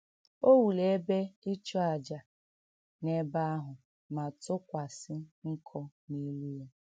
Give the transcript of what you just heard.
O wuru ebe ịchụàjà n’ebe ahụ ma tụkwasị nkụ n’elu ya.